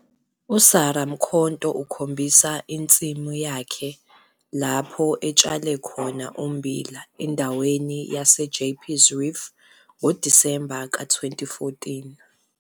Photo 2- USarah Mkhonto ukhombisa insimu yakhe lapho etshale khona ummbila endaweni yaseJeppes Reef ngoDisemba ka-2014.